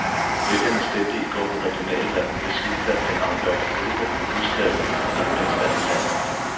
Vælgerne stemte i går ved regionalvalg, hvis udfald kan afgøre, hvor hurtigt der vil blive udskrevet et nyt parlamentsvalg i landet.